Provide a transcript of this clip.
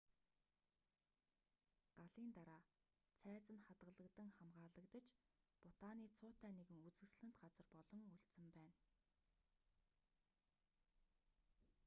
галын дараа цайз нь хадаглагдан хамгаалагдаж бутаны цуутай нэгэн үзэгсэлэнт газар болон үлдсэн байна